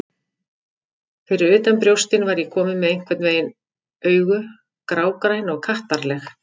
Fyrir utan brjóstin var ég komin með einhvern veginn augu, grágræn og kattarleg.